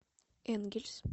энгельс